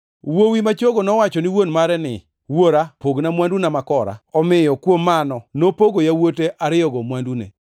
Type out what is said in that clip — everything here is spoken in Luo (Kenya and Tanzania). Wuowi ma chogo nowacho ni wuon mare ni, ‘Wuora, pogna mwanduna makora.’ Omiyo mano nopogo yawuote ariyogo mwandune.